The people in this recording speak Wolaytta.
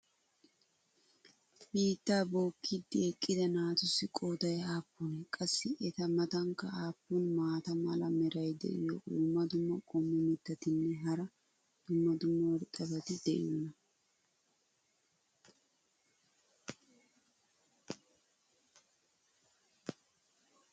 biittaa bookiidi eqqida naatussi qooday aappunee? qassi eta matankka aappun maata mala meray diyo dumma dumma qommo mitattinne hara dumma dumma irxxabati de'iyoonaa?